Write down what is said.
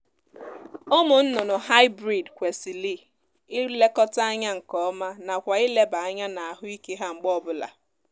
ụmụ nnụnụ hybrid kwesịrị ilekọta anya nkeọma nakwa ileba anya n'ahụ ike ha mgbe ọ bụla